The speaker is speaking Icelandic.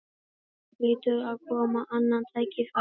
Það hlýtur að koma annað tækifæri